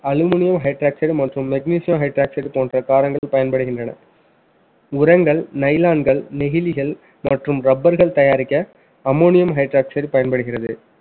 Aluminium hydroxide மற்றும் magnesium hydroxide போன்ற காரங்கள் பயன்படுகின்றன. உரங்கள் nylon கள் நெகிழிகள் மற்றும் rubber கள் தயாரிக்க ammonium hydroxide பயன்படுகிறது